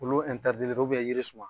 Olu yiri suman.